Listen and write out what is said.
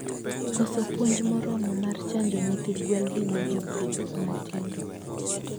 Koso puonj moromo mar chanjo nyithi gwen hinyo jopith matindo